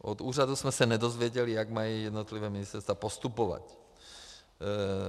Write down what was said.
Od úřadu jsme se nedozvěděli, jak mají jednotlivá ministerstva postupovat.